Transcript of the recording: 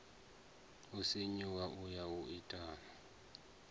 sinyuwa u ya u itani